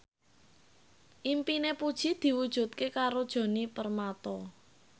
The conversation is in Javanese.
impine Puji diwujudke karo Djoni Permato